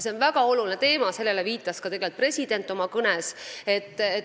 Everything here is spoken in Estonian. See on väga oluline teema, sellele viitas ka president oma kõnes.